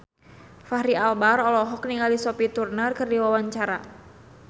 Fachri Albar olohok ningali Sophie Turner keur diwawancara